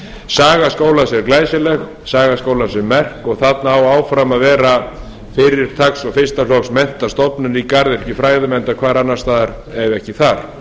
saga skólans er glæsileg saga skólans er merk og þarna á áfram að vera fyrirtaks og fyrsta flokks menntastofnun í garðyrkjufræðum enda hvar annars staðar ef ekki þar